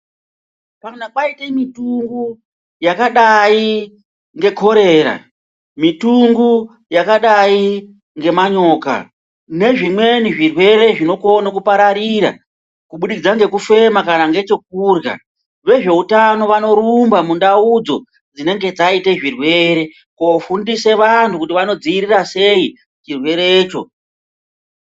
Kana kwaita mitungu yakadai ngekorera mitungu yakadai nemanyo kanezvimweni zvirwere zvinokone kupararira kubudikidza ngekufema kana ngechokurya. Vezveutano vanorumba mundaudzo dzinenge dzaite chirwere kofundisa antu kuti vanodzivirira sei chirwere cho.